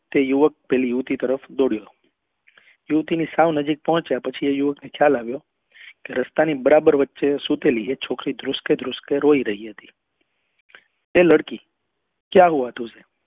તે યુવક પેલી યુવતી તરફ દોડ્યો યુવતી ની સાવ નજીક આવ્યા પછી એ યુવક ને ખ્યાલ આવ્યો કે રસ્તા ની બરાબર વચે સુતેલી એ છોકરી ધ્રુસકે ધ્રુસકે રોઈ રહી હતી એ લડકી ક્યા હુઆ તુજે